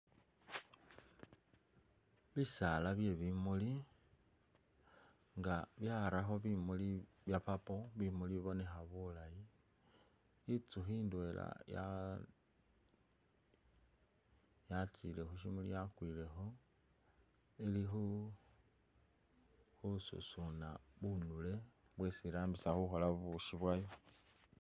Bisaala bye bimuli nga byarakho bimuli bya purple bibonekha bulaayi, inzukhi indwela yatsile khusimuli yakwilekho ili khususuna bunule bwesi iramisa khukhola bubushi bwayo.